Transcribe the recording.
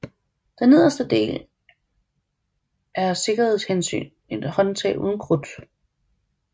Den nederste del er af sikkerheds hensyn et håndtag uden krudt